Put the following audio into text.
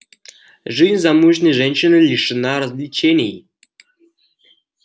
жизнь замужней женщины лишена развлечений